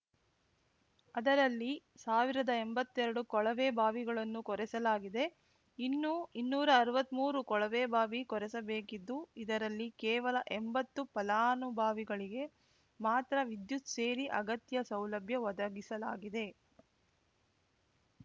ಅದರಲ್ಲಿ ಸಾವಿರದ ಎಂಬತ್ತೆರಡು ಕೊಳವೆಬಾವಿಗಳನ್ನು ಕೊರೆಸಲಾಗಿದೆ ಇನ್ನೂ ಇನ್ನೂರಾ ಅರ್ವತ್ಮೂರು ಕೊಳವೆಬಾವಿ ಕೊರೆಸಬೇಕಿದ್ದು ಇದರಲ್ಲಿ ಕೇವಲ ಎಂಬತ್ತು ಫಲಾನುಭಾವಿಗಳಿಗೆ ಮಾತ್ರ ವಿದ್ಯುತ್‌ ಸೇರಿ ಅಗತ್ಯ ಸೌಲಭ್ಯ ಒದಗಿಸಲಾಗಿದೆ